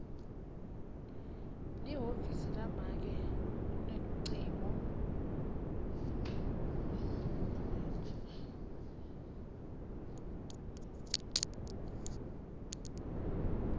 lihhovisi lamake lunelucingo